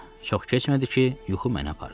Çox keçmədi ki, yuxu məni apardı.